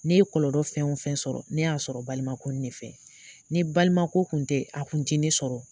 Ne ye kɔlɔlɔ fɛn o fɛn sɔrɔ, ne y'a sɔrɔ balimako in ne fɛ, ni balimako kun tɛ a kun ti ne sɔrɔ.